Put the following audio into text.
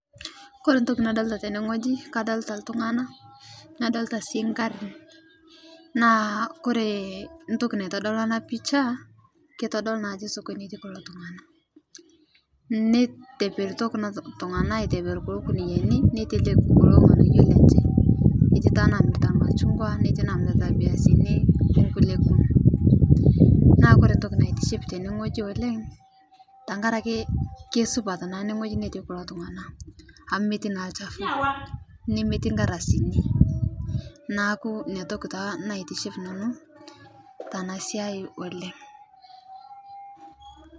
Kore ntoki nadolita tenee ng'oji naa kadolita ltung'ana nadolita sii nkarin naa kore ntoki naitodoluu ana picha keitodoluu naa ajo sokoni etii kuloo tungana neiteperito kuna tung'ana aiteper kuloo kuniyani neiteleki kuloo ng'anaypo lenshe eti taa nbamirita lmashung'wa netii namirita lbiasini onkulie kumoo naa kore ntoki naitiship tene ng'oji oleng' tankarake keisupat naa ene ng'oji ntii kulo tung'ana amu meti naa lchafuu nemetii nkardasini naaku inia toki taa naitiship nanuu tana siai oleng'.